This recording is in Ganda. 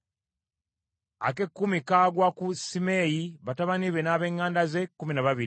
ak’ekkumi kagwa ku Simeeyi, batabani be n’ab’eŋŋanda ze, kkumi na babiri;